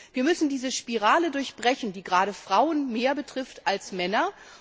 Wir müssen diese Spirale durchbrechen, die gerade Frauen mehr betrifft als Männer.